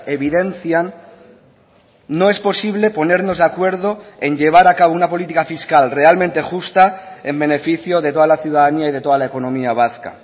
evidencian no es posible ponernos de acuerdo en llevar a cabo una política fiscal realmente justa en beneficio de toda la ciudadanía y de toda la economía vasca